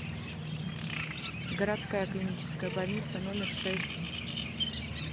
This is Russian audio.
городская клиническая больница номер шесть